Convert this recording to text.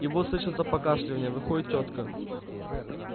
и вот слышится покашливанье выходит тётка